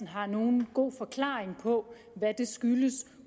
har nogen god forklaring på hvad det skyldes